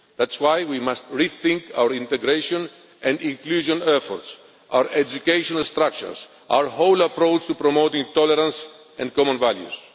That is why we must rethink our integration and inclusion efforts, our educational structures, our whole approach to promoting tolerance and common values.